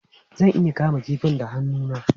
Zan iya kama kifin da hannu na?